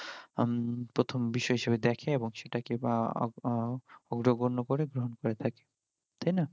উম প্রথম বিষয়ই হিসেবে দ্যাখে এবং সেটাকে বা অগ্রগণ্য করে গ্রহন করে থাকে তাই না